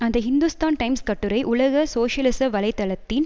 அந்த ஹிந்துஸ்தான் டைம்ஸ் கட்டுரை உலக சோசியலிச வலை தளத்தின்